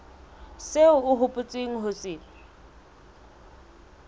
seo o hopotseng ho se